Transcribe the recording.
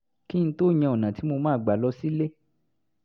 kí n tó yan ọ̀nà tí mo máa gbà lọ sílé